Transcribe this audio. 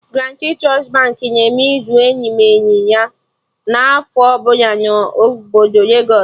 Guaranti Trust Baankị na-eme izu eyimeyi na afọ ọbụla na obodo legos